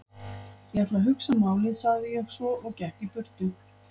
Ég ætla að hugsa málið sagði ég svo og gekk í burtu.